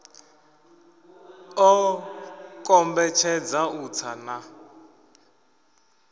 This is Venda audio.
ḓo kombetshedza u tsa na